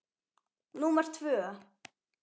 númer tvö.